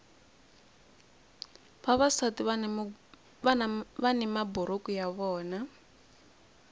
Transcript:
vavasati vani maburuku ya vona